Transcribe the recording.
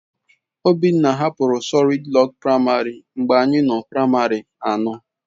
Obinna hapụrụ Solịd Rok Praịmarị mgbe anyị nọ na praịmarị anọ.